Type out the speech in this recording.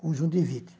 Conjuntivite.